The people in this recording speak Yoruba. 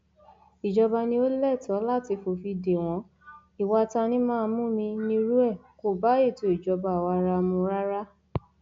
ìjọba ni ò lẹtọọ láti fòfin de wọn ìwà tanimáàmúmi nírú ẹ kò bá ètò ìjọba àwaarawa mu rárá